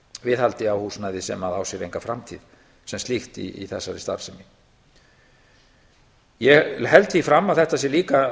viðhaldi á húsnæði sem á sér enga framtíð sem slíkt í þessari starfssemi ég held því fram að þetta sé líka